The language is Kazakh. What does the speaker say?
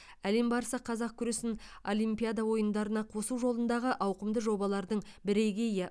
әлем барысы қазақ күресін олимпиада ойындарына қосу жолындағы ауқымды жобалардың бірегейі